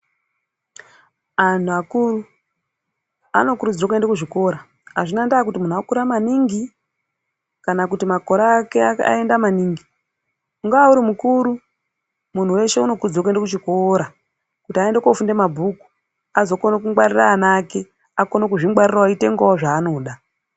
Anhu akuru anokurudzirwe kuende kuzvikora. Azvina ndaa kuti munhu wakura maningi ,kana kuti makore ake aenda maningi, ungaa uri mukuru ,munhu weshe unokurudzirwe kuende kuchikora, kuti aende koofunda mabhuku, azokone kungwarira ana ake, akone kuzvingwarirawo, eitengawo zvaanoda.